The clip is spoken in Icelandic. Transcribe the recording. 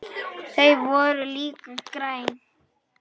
Þau voru líka græn.